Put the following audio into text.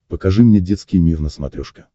покажи мне детский мир на смотрешке